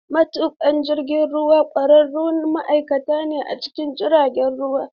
Matuƙan jirgin ruwa ƙwararrun ma'aikata ne a cikin jiragen ruwa.